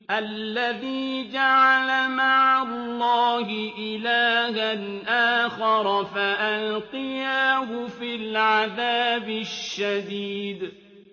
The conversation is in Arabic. الَّذِي جَعَلَ مَعَ اللَّهِ إِلَٰهًا آخَرَ فَأَلْقِيَاهُ فِي الْعَذَابِ الشَّدِيدِ